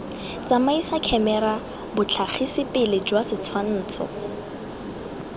tsamaisa khemera botlhagisipele jwa setshwansho